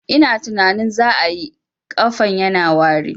Ina tunanin za ayi, ƙafan yana wari